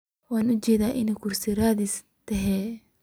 Waan uujedaa inad kursi raadis thy.